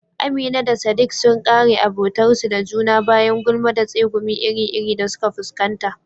Amina da sadik sun kare abotarsu da juna bayan gulma da tsegumi iri-iri da suka fuskanta